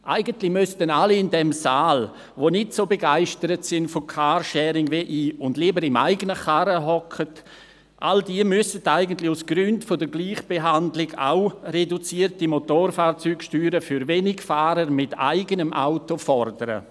Eigentlich müssten alle in diesem Saal, die vom Carsharing nicht so begeistert sind wie ich und lieber im eigenen Auto sitzen, aus Gründen der Gleichbehandlung auch reduzierte Motorfahrzeugsteuern für Wenigfahrer mit eigenem Auto fordern.